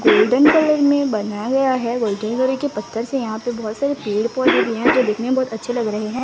Golden colour मे बनाया गया है गोल्डन कलर के पत्थर से यहा पे बहोत सारे पेड़ पौधे भी है जो दिखने मे बहोत अच्छे लग रहे है।